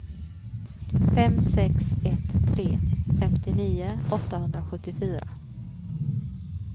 fem sex ett tre femtionio åttahundrasjuttiofyra